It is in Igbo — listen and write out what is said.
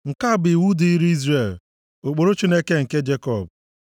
nke a bụ iwu dịrị Izrel, ụkpụrụ Chineke nke Jekọb.